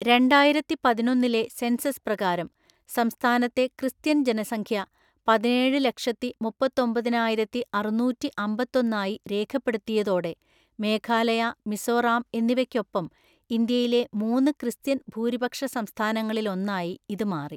രണ്ടായിരത്തിപതിനൊന്നിലെ census പ്രകാരം സംസ്ഥാനത്തെ Christian ജനസംഖ്യ പതിനേഴുലക്ഷത്തിമുപ്പത്തൊമ്പതിനായിരത്തിഅറുനൂറ്റിഅമ്പത്തൊന്ന് ആയി രേഖപ്പെടുത്തിയതോടെ മേഘാലയ, മിസോറാം എന്നിവയ്‌ക്കൊപ്പം ഇന്ത്യയിലെ മൂന്ന് ക്രിസ്ത്യൻ ഭൂരിപക്ഷ സംസ്ഥാനങ്ങളിൽ ഒന്നായി ഇത് മാറി.